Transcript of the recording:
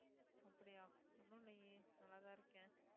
அப்டியா ஒண்ணும் இல்லையே நல்லாதான் இருக்கேன்